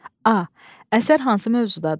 A. Əsər hansı mövzudadır?